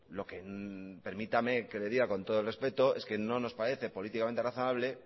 lo que permítame que le diga con todo el respeto es que no nos parece políticamente razonable